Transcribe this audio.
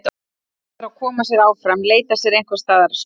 Verður að koma sér áfram, leita sér einhvers staðar skjóls.